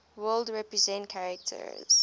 world represent character